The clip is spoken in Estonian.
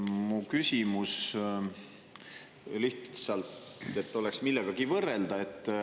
Mu küsimus lihtsalt oleks millegagi võrrelda.